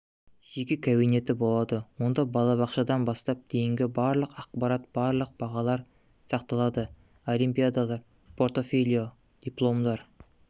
жеке кабинеті болады онда балабақшадан бастап дейінгі барлық ақпарат барлық бағалар сақталады олимпиадалар портфолио дипломдар